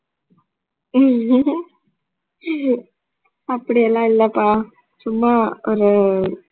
அப்படியெல்லாம் இல்லப்பா சும்மா ஒரு